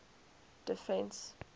defence